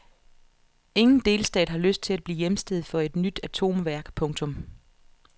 Ingen delstat har lyst til at blive hjemsted for et nyt atomværk. punktum